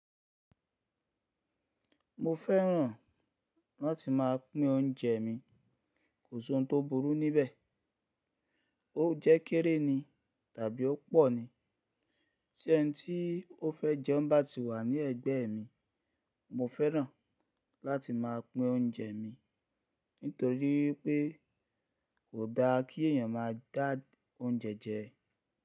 Mo fẹ́ràn láti máa pín oúnjẹ mi, kò sí oun tó burú níbẹ̀, óunjẹ́ kéré ni tàbí ó pọ̀ ni, tí ẹni tí ó fẹ́ jẹun bá ti wà ní ẹ̀gbẹ́ mi, mo fẹ́ràn láti máa pín oúnjẹ mi, nítorí pé kò dáa kí èyàn máa dá oúnjẹ jẹ.